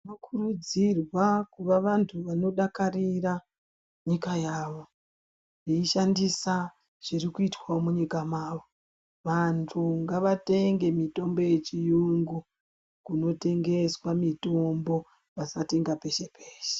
Tinokurudzirwa kuva vantu vanodakarira nyika yavo veishandiswa zvirikuitwawo munyika mwavo. Vantu ngavatenge mitombo yechiyungu kunotengeswa mitombo vasatenga peshe peshe.